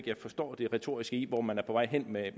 jeg forstår det retoriske i hvor man er på vej hen med